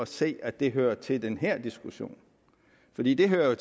se at det hører til den her diskussion fordi det hører